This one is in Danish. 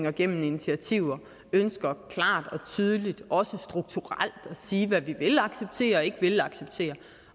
og gennem initiativer ønsker klart og tydeligt også strukturelt at sige hvad vi vil acceptere og ikke vil acceptere